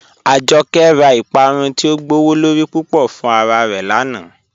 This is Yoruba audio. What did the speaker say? Ajọkẹ̀ rá Ìpàrún ti o gbọwọ́lorí púpọ̀ fún ara rẹ́ lánà.